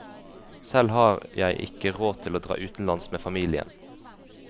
Selv har jeg ikke råd til å dra utenlands med familien.